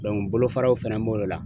bolofaraw fɛnɛ b'o de la.